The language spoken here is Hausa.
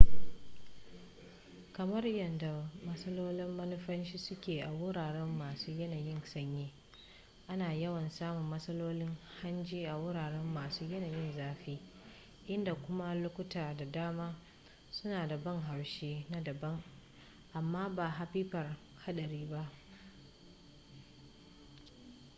kamar yadda matsalolin manumfashi suke a wurare masu yanayin sanyi ana yawan samun matsalolin hanji a wurare masu yanayin zafi inda kuma lokuta da dama suna da ban haushi na daban amma ba hapipar haɗari ba